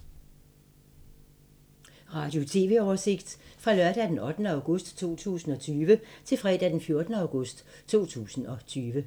Radio/TV oversigt fra lørdag d. 8. august 2020 til fredag d. 14. august 2020